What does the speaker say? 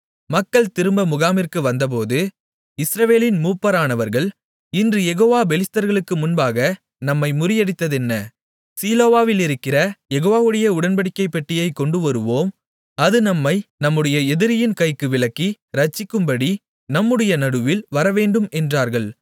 மக்கள் திரும்ப முகாமிற்கு வந்தபோது இஸ்ரவேலின் மூப்பரானவர்கள் இன்று யெகோவா பெலிஸ்தர்களுக்கு முன்பாக நம்மை முறியடித்ததென்ன சீலோவிலிருக்கிற யெகோவாவுடைய உடன்படிக்கைப்பெட்டியைக் கொண்டுவருவோம் அது நம்மை நம்முடைய எதிரியின் கைக்கு விலக்கி இரட்சிக்கும்படி நம்முடைய நடுவில் வரவேண்டும் என்றார்கள்